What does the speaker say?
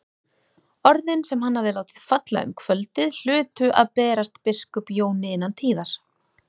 Orðin sem hann hafði látið falla um kvöldið hlutu að berast biskup Jóni innan tíðar.